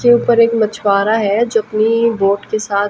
के ऊपर एक मछुवारा हैं जो अपनी बोट के साथ--